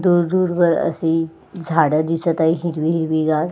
दूर दूर वर असे झाडे दिसत आहे हिरवी हिरवी गार.